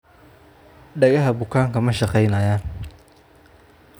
Dhagaha bukaanka maa shaqeynayan.